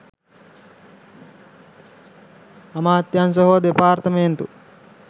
අමාත්‍යංශ හෝ දෙපාර්තමේන්තු